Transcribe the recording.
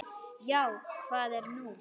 Já, hvað er nú?